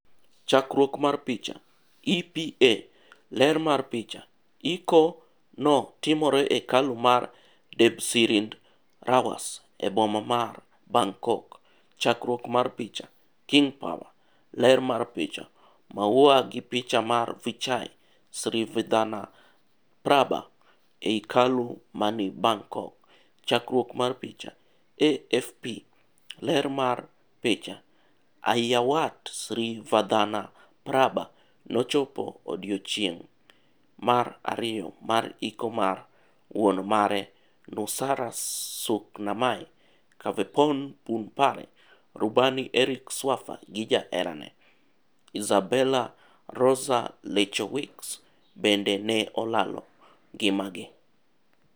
Chakruok mar picha, EPA. Ler mar picha, iko no timore e hekalu mar Debsirindrawas e boma mar Bangkok. Chakruok mar picha, King Power. ler mar picha, Maua gi picha mar Vichai Srivaddhanaprabha ei hekalu mani Bangkok. Chakruok mar picha, AFP. Ler mar picha, Aiyawatt Srivaddhanaprabha nochopo odichieng' mar ariyo mar ikomar wuon mare Nusara Suknamai, Kaveporn Punpare, rubani Eric Swaffer gi jaherane, Izabela Roza Lechowicz, bende ne olalo ngima gi.